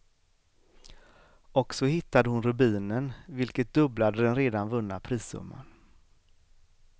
Och så hittade hon rubinen, vilket dubblade den redan vunna prissumman.